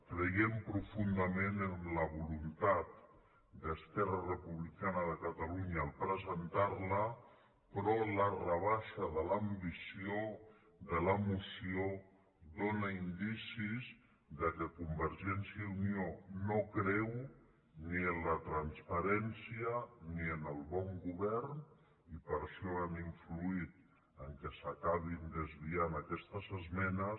creiem profundament en la voluntat d’esquerra republicana de catalunya al presentar la però la rebaixa de l’ambició de la moció dóna indicis que convergència i unió no creu ni en la transparència ni en el bon govern i per això han influït perquè s’acabin desviant aquestes esmenes